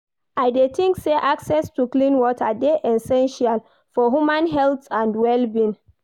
I dey think say access to clean water dey essential for human health and wll-being.